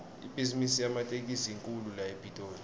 ibhizimisi yematekisi inkhulu la epitoli